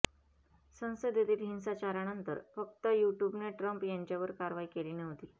संसदेतील हिंसाचारानंतर फक्त युट्युबने ट्रम्प यांच्यावर कारवाई केली नव्हती